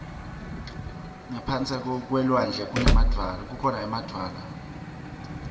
ngaphasi kwelulwandle kukhona emadvwala